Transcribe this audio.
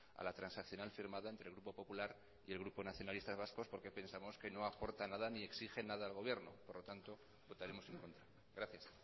a la transaccional firmada entre el grupo popular y el grupo nacionalistas vascos porque pensamos que no aporta nada ni exige nada al gobierno por lo tanto votaremos en contra gracias